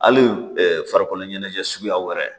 Hali farikolo ɲɛnajɛ suguyaw yɛrɛ